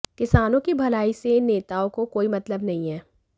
किसानों की भलाई से इन नेताओं को कोई मतलब नहीं है